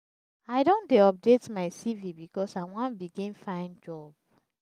i don dey update my cv because i wan begin find job.